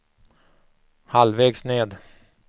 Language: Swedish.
halvvägs ned